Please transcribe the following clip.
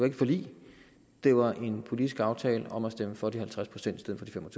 et forlig det var en politisk aftale om at stemme for de halvtreds procent i stedet for de fem og